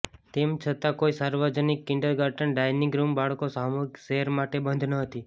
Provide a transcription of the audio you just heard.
તેમ છતાં કોઈ સાર્વજનિક કિન્ડરગાર્ટન ડાઇનીંગ રુમ બાળકો સામૂહિક ઝેર માટે બંધ ન હતી